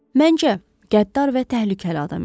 Məncə, qəddar və təhlükəli adam idi.